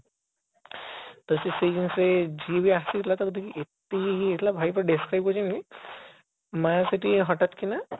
ତ ସେଇ ଦିନ ସେ ଯିଏ ବି ଆସିଥିଲା ତାକୁ ଦେଖିକି ଏତେ ଇଏ ହେଇଯାଇଥିଲା ଭାଇ ପୁରା describe କରୁଛନ୍ତି ମା ସେଠି ହଠାତ କିନା